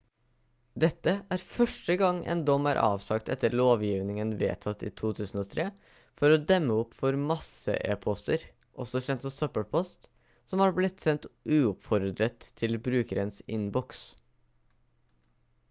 dette er første gang en dom er avsagt etter lovgivningen vedtatt i 2003 for å demme opp for masse-e-poster også kjent som søppelpost som har blitt sendt uoppfordret til brukernes innboks